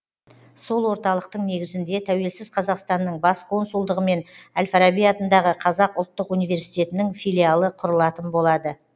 сол орталықтың негізінде тәуелсіз қазақстанның бас консулдығы мен әл фараби атындағы қазақ ұлттық университетінің филиалы құрылатын болады